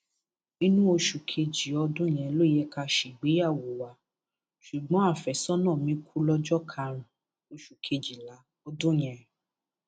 inú oṣù kejì ọdún yẹn ló yẹ ká ṣègbéyàwó wa ṣùgbọn àfẹsọnà mi kú lọjọ karùnún oṣù kejìlá ọdún yẹn